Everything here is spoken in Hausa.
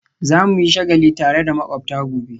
Za mu yi shagali tare da makwabta gobe